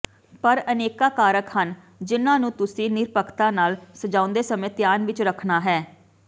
ਪਰ ਅਨੇਕਾਂ ਕਾਰਕ ਹਨ ਜਿਨ੍ਹਾਂ ਨੂੰ ਤੁਸੀਂ ਨਿਰਪੱਖਤਾ ਨਾਲ ਸਜਾਉਂਦੇ ਸਮੇਂ ਧਿਆਨ ਵਿੱਚ ਰੱਖਣਾ ਹੈ